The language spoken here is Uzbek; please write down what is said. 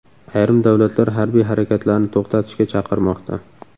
Ayrim davlatlar harbiy harakatlarni to‘xtatishga chaqirmoqda.